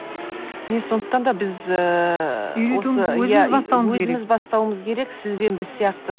міне сондықтан да біз ыыы өзіміз бастауымыз керек өзіміз бастауымыз керек сіз бен біз сияқты